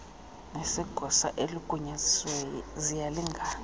nesegosa eligunyazisiweyo ziyalingana